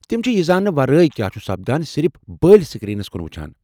تِم چھِ یہِ زانٛنہٕ ورٲے کیاہ چُھ سپدان ، صرف بٕلۍ سکرینس كُن وُچھان۔